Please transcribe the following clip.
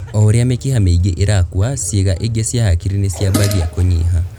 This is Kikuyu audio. O ũrĩa mĩkiha mĩingi ĩrakua, ciĩga ingĩ cia hakiri nĩciambagia kũnyiha